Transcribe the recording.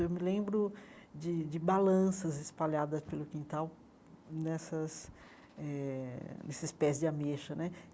Eu me lembro de de balanças espalhada pelo quintal nessas eh, nesses pés de ameixa né.